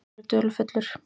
Hann verður dularfullur.